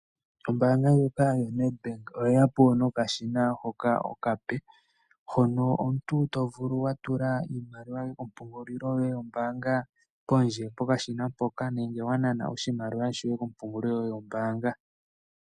Ombaanga ndjoka yo Nedbank oyeyapo nokashina hoka okape hono omuntu tovulu okutula iimaliwa yoye mompungulilo yoye yombaanga pondje pokashina mpoka nenge wa nana oshimaliwa shoye kompungulilo yoye yombaanga.